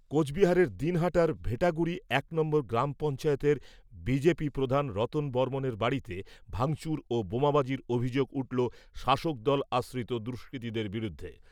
কোচবিহারের দিনহাটার ভেটাগুড়ি এক নম্বর গ্রাম পঞ্চায়েতের বিজেপি প্রধান রতন বর্মন এর বাড়িতে ভাঙচুর ও বোমাবাজির অভিযোগ উঠল শাসকদল আশ্রিত দুষ্কৃতীদের বিরুদ্ধে।